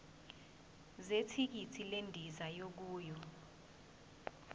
zethikithi lendiza yokuya